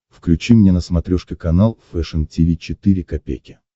включи мне на смотрешке канал фэшн ти ви четыре ка